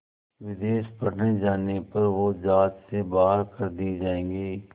विदेश पढ़ने जाने पर वो ज़ात से बाहर कर दिए जाएंगे